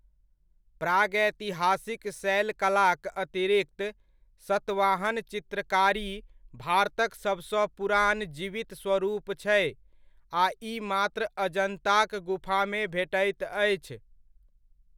प्रागैतिहासिक शैल कलाक अतिरिक्त सतवाहन चित्रकारी भारतक सबसँ पुरानऽ जीवित स्वरूप छै आ ई मात्र अजन्ताक गुफामे भेटैत अछि।